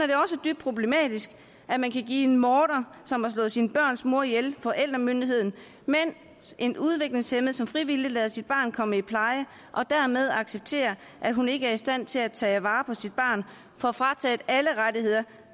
dybt problematisk at man kan give en morder som har slået sine børns mor ihjel forældremyndigheden mens en udviklingshæmmet som frivilligt lader sit barn komme i pleje og dermed accepterer at hun ikke er i stand til at tage vare på sit barn får frataget alle rettigheder